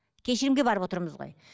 кешірімге барып отырмыз ғой